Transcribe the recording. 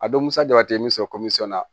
A don musa jaba ye min bɛ sɔrɔ na